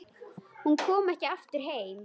Hún kom ekki aftur heim.